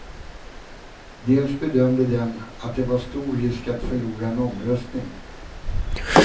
Dels bedömde den att det var stor risk att förlora en omröstning.